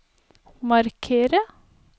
markere